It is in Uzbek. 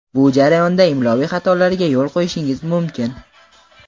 Bu jarayonda imloviy xatolarga yo‘l qo‘yishingiz mumkin.